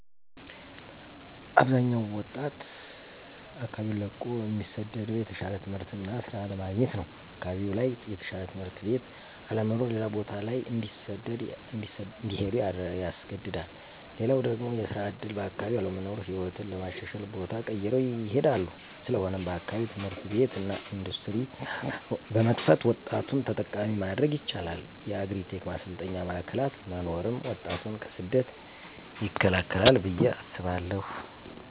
አብዛኛው ወጣት አካባቢውን ለቆ እሚሰደደው የተሻለ ትምህርት እና ሥራ ለማግኘት ነው። አካባቢው ላይ የተሻለ ትምህርት ቤት አለመኖር ሌላ ቦታ ላይ እንዲሄዱ ያስገድዳል። ሌላው ደግሞ የስራ ዕድል በአካባቢው አለመኖር ሕይወትን ለማሻሻል ቦታ ቀይረው ይሄዳሉ። ስለሆነም በአካባቢው ትምህርት ቤት እና ኢንዱስትሪ በመክፈት ወጣቱን ተጠቃሚ ማድረግ ይቻላል። የአግሪ-ቴክ ማሰልጠኛ ማዕከላት መኖርም ወጣቱን ከስደት ይከላከላል ብዬ አስባለሁ።